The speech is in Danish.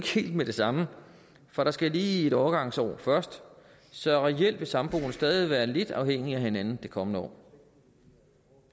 helt med det samme for der skal lige et overgangsår til først så reelt vil samboende stadig være lidt afhængige af hinanden det kommende år